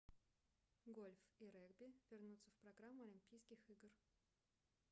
гольф и регби вернутся в программу олимпийских игр